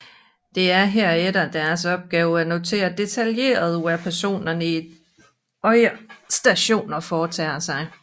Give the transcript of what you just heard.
Det er herefter deres opgave at notere detaljeret hvad personerne i de andre stationer foretager sig